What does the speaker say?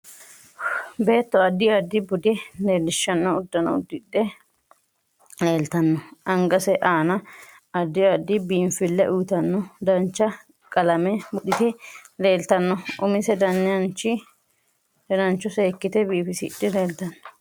Beeto addi addi bude leelishanno uddano uddidhe leeltanno angase aana addi addi biinfille uyiitaata dancha qalame buudhite leeltanno umise dananicho seekite biifisidhe leeltanno